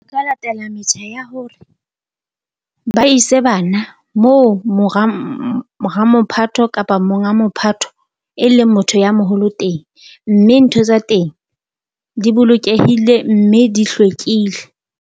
Ka latela metjha ya hore ba ise bana moo mo ramophatho, kapa monga mophatho e leng motho ya moholo teng, mme ntho tsa teng di bolokehile mme di hlwekile.